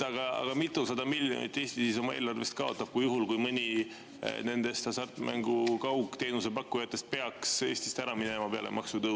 Aga kui mitusada miljonit Eesti oma eelarvest kaotab juhul, kui mõni nendest hasartmängu kaugteenuse pakkujatest peaks peale maksutõuse Eestist ära minema?